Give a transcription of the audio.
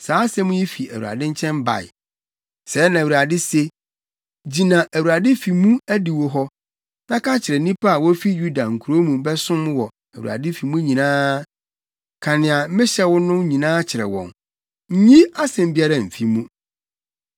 “Sɛɛ na Awurade se: Gyina Awurade fi mu adiwo hɔ, na ka kyerɛ nnipa a wofi Yuda nkurow mu bɛsom wɔ Awurade fi mu nyinaa. Ka nea mehyɛ wo no nyinaa kyerɛ wɔn; nyi asɛm biara mfi mu.